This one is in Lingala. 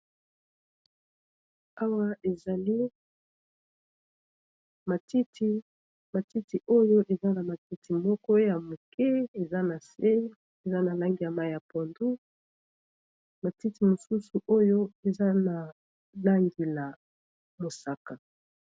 Awa ezali matiti, matiti oyo eza na matiti moko ya moke eza na se eza na langi ya mayi ya pondu matiti mosusu oyo eza na langila mosaka.